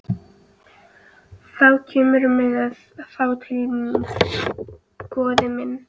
Þá kemurðu með þá til mín, góði minn.